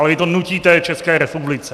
Ale vy to nutíte České republice.